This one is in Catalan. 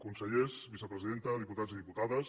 consellers vicepresidenta diputats i diputades